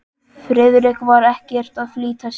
Friðrik var ekkert að flýta sér.